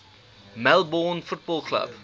melbourne football club